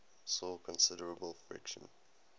saw considerable friction